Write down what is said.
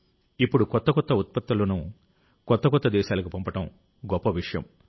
ఇప్పుడు కొత్త కొత్త ఉత్పత్తులను కొత్త కొత్త దేశాలకు పంపడం గొప్ప విషయం